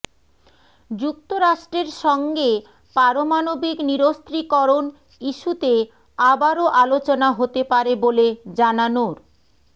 যুক্তরাষ্ট্রের সঙ্গে পারমাণবিক নিরস্ত্রীকরণ ইস্যুতে আবারও আলোচনা হতে পারে বলে জানানোর